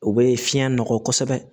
O bɛ fiɲɛ nɔgɔ kosɛbɛ